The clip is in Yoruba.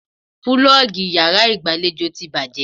Púlọ́ọ́gì yàrá ìgbàlejò ti bàjẹ́.